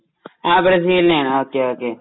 ങാ.. ബ്രസീലിനെയാണ്. ഓകെ..ഓകെ..